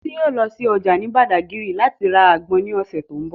Titi yóò lọ sí ọjà ní Badagry láti ra àgbọn ní ọ̀sẹ̀ tó ń bọ̀.